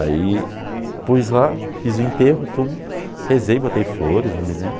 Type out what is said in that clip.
Aí pus lá, fiz o enterro, rezei, botei flores, não me lembro.